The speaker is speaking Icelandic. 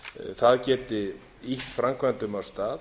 það geti ýtt framkvæmdum af stað